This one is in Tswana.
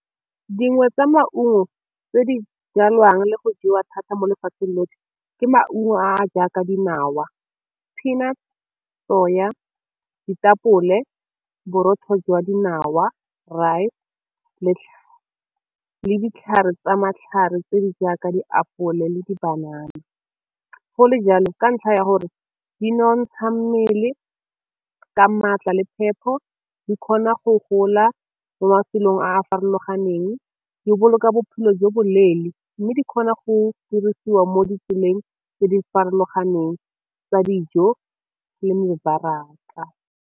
Dingwe tsa maungo tse di jalwang le go jewa thata mo lefatsheng lotlhe ke maungo a jaaka dinawa, peanuts, soya, ditapole, borotho jwa dinawa, rice le ditlhare tsa matlhare tse di jaaka diapole le di banana. Gole jalo ka ntlha ya gore di nonotsha mmele ka maatla le phepho di kgona go gola mo mafelong a a farologaneng, di boloka bophelo jo bo leele mme di kgona go dirisiwa mo ditseleng tse di farologaneng tsa dijo le mebaraka.